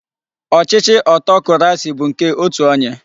Ochichi Otokurasi bu nke otu onye